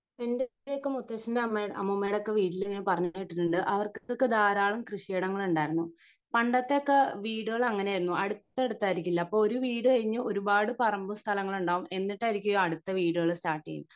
എൻ്റെയൊക്കെ മുത്തച്ഛന്റേം അമ്മെ അമ്മൂമ്മേടെ ഒക്കെ വീട്ടിൽ ഞാൻ പറഞ്ഞെ കേട്ടിട്ടുണ്ട് അവർക്കൊക്കെ ധാരാളം കൃഷിയിടങ്ങൾ ഉണ്ടായിരുന്നു പണ്ടത്തെ ഒക്കെ വീടുകൾ അങ്ങിനെ ആയിരുന്നു അടുത്തടുത്തായിരിക്കില്ല അപ്പൊ ഒരു വീട് കഴിഞ്ഞ് ഒരുപാട് പറമ്പും സ്ഥലങ്ങളും ഉണ്ടാവും എന്നിട്ടായിരിക്കും അടുത്ത വീടുകൾ സ്റ്റാർട്ട് ചെയുന്നെ